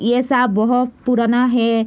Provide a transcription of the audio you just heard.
ये सब बहुत पुराना है।